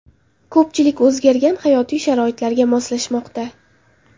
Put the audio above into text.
Ko‘pchilik o‘zgargan hayotiy sharoitlarga moslashmoqda.